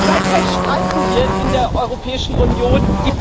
Seither streiten wir in der Europäischen Union.